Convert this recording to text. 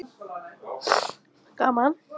Svo keyrði ég hann heim til Tóta.